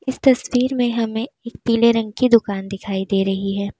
तस्वीर में हमें पीले रंग की दुकान दिखाई दे रही है।